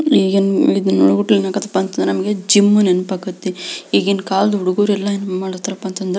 ಈಗ ಇದನ್ನು ನೋಡ್ಬಿಟ್ಟು ನಮಗೆ ಏನ್ ಆಗೇತಿ ಅಂದ್ರೆ ನಮಗೆ ಜಿಮ್ ನೆನಪ್ ಆಗತೈತಿ ಈಗಿನ ಕಾಲದ್ ಹುಡುಗ್ರು ಎಲ್ಲ ಏನ್ ಮಾಡ್ತರಪ ಅಂದ್ರೆ--